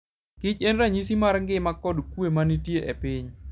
kich en ranyisi mar ngima kod kuwe ma nitie e piny.